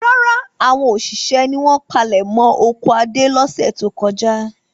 Rárá, àwọn òṣìṣẹ́ ni wọ́n palẹ̀mọ́ oko Adé lọ́sẹ̀ tó kọjá.